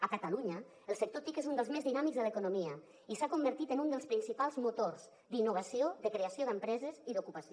a catalunya el sector tic és un dels més dinàmics de l’economia i s’ha convertit en un dels principals motors d’innovació de creació d’empreses i d’ocupació